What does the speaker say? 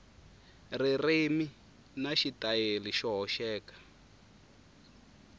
ririmi na xitayili xo hoxeka